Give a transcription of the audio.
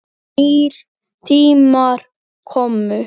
Nýir tímar komu.